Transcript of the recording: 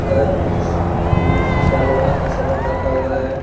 धर कुछ मिट्टी का लोहा का सामान रखा हुआ है।